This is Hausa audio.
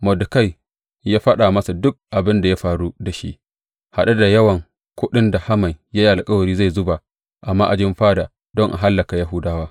Mordekai ya faɗa masa duk abin da ya faru da shi, haɗe da yawan kuɗin da Haman ya yi alkawari zai zuba a ma’ajin fada don a hallaka Yahudawa.